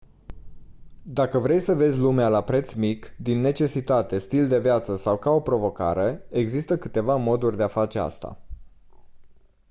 dacă vrei să vezi lumea la preț mic din necesitate stil de viață sau ca o provocare există câteva moduri de a face asta